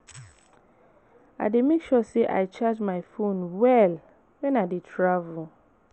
I dey make sure sey I charge my fone well wen I dey travel.